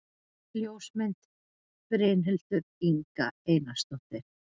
Ljósmynd: Brynhildur Inga Einarsdóttir